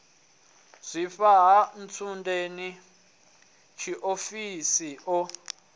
zwifha ha ntsundeni tshiofhiso o